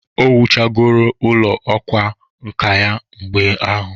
O wuchagoro ụlọ ọkwa nka ya mgbe ahụ?